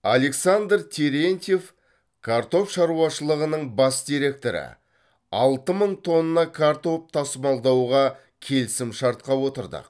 александр терентьев картоп шаруашылығының бас директоры алты мың тонна картоп тасымалдауға келісімшартқа отырдық